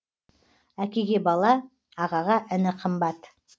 әкеге бала ағаға іні қымбат